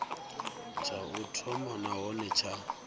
tsha u thoma nahone tsha